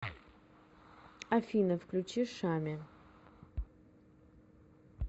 афина включи шами